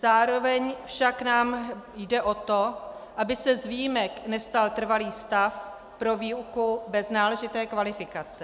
Zároveň nám však jde o to, aby se z výjimek nestal trvalý stav pro výuku bez náležité kvalifikace.